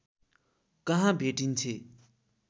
कहाँ भेटिन्छे